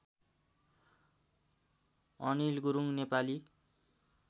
Anil Gurung Nepali